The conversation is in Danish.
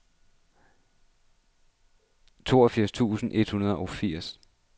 toogfirs tusind et hundrede og firs